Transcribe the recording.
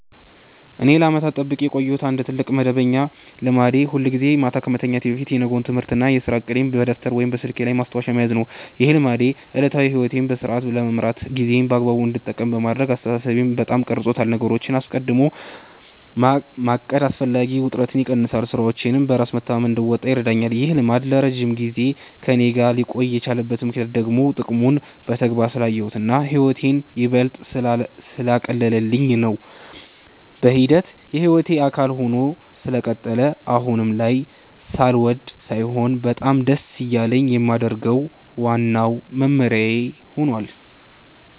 እኔ ለዓመታት ጠብቄው የቆየሁት አንድ ትልቅ መደበኛ ልማዴ ሁልጊዜ ማታ ከመተኛቴ በፊት የነገውን የትምህርትና የሥራ ዕቅዴን በደብተር ወይም በስልኬ ላይ ማስታወሻ መያዝ ነው። ይህ ልማዴ ዕለታዊ ሕይወቴን በሥርዓት ለመምራትና ጊዜዬን በአግባቡ እንድጠቀም በማድረግ አስተሳሰቤን በጣም ቀርጾታል። ነገሮችን አስቀድሞ ማቀድ አላስፈላጊ ውጥረትን ይቀንሳል፤ ሥራዎቼንም በራስ መተማመን እንድወጣ ይረዳኛል። ይህ ልማድ ለረጅም ጊዜ ከእኔ ጋር ሊቆይ የቻለበት ምክንያት ደግሞ ጥቅሙን በተግባር ስላየሁትና ሕይወቴን ይበልጥ ስላቀለለልኝ ነው። በሂደት የሕይወቴ አካል ሆኖ ስለቀጠለ አሁን ላይ ሳልወድ ሳይሆን በጣም ደስ እያለኝ የማደርገው ዋናው መመሪያዬ ሆኗል።